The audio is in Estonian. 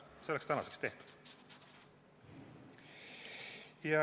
See oleks tänaseks tehtud.